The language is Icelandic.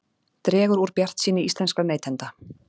Dregur úr bjartsýni íslenskra neytenda